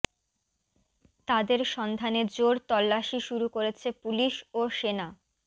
তাদের সন্ধানে জোর তল্লাশি শুরু করেছে পুলিশ ও সেনা